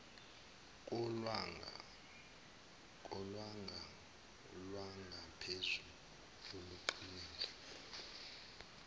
kolwanga lwangaphezulu oluqinile